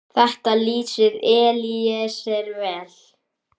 Þetta lýsir Elíeser vel.